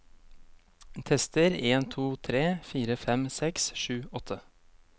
Tester en to tre fire fem seks sju åtte